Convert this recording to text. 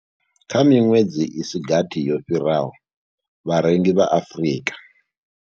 Kha miṅwedzi i si gathi yo fhiraho, vharengi vha Afrika.